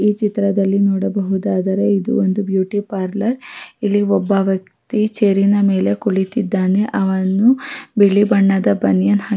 ಈ ಚಿತ್ರದಲ್ಲಿ ನೋಡಬಹುದಾದರೆ ಇದೊಂದು ಬ್ಯೂಟಿ ಪಾರ್ಲರ್ ಇಲ್ಲಿ ಒಬ್ಬ ವ್ಯಕ್ತಿ ಚೇರ್ ನ ಮೇಲೆ ಕುಳಿತ್ತಿದ್ದಾನೆ ಅವನು ಬಿಳಿ ಬಣ್ಣದ ಬನಿಯನ್--